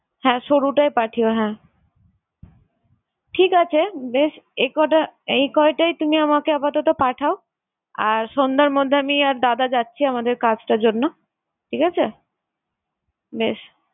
হ্যাঁ সরুটাই পাঠিও হ্যাঁ। ঠিক আছে বেশ এই কয়টা~ এই কয়টাই তুমি আমাকে আপাতত পাঠাও। আর সন্ধ্যার মধ্যে আমি আর দাদা যাচ্ছি আমাদের কাজটার জন্য। ঠিক আছে? বেশ!